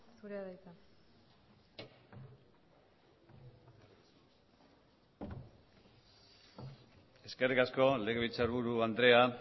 zurea da hitza eskerrik asko legebiltzarburu andrea